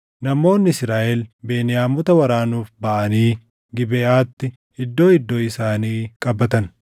Namoonni Israaʼel Beniyaamota waraanuuf baʼanii Gibeʼaatti iddoo iddoo isaanii qabatan.